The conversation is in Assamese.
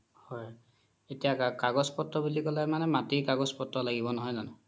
হয় এতিয়া কাগজ পত্ৰ বুলি ক্'লে মাতিৰ কাগজ পত্ৰ লাগিব নহয় জানো